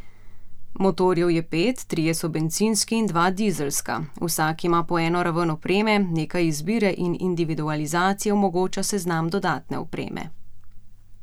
Motorjev je pet, trije so bencinski in dva dizelska, vsak ima po eno raven opreme, nekaj izbire in individualizacije omogoča seznam dodatne opreme.